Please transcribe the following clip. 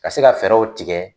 Ka se ka fɛɛrɛw tigɛ